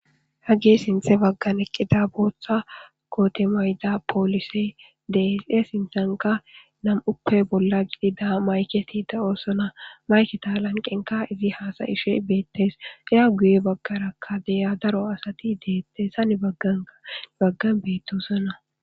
Hagi sinthe baggan eqqida booththa kootemayda phoolise deese sinthanka nam7uppe bolla gidida mayketi da7oosona mayketa lanqenka izi haasayishe beettes iya guye baggarakka deya daro asati deettes sa ni bagganka baggan beettosona.